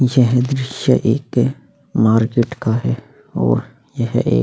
यह दृश्य एक मार्केट का है और यह एक --